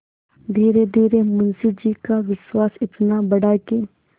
धीरेधीरे मुंशी जी का विश्वास इतना बढ़ा कि